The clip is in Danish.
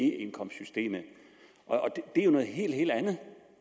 e indkomstsystemet og det er jo noget helt helt andet